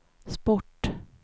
sport